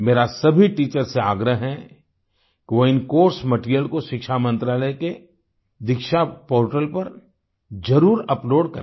मेरा सभी टीचर्स से आग्रह है कि वो इन कोर्स मटीरियल को शिक्षा मंत्रालय के दीक्षा पोर्टल पर जरुर अपलोड करें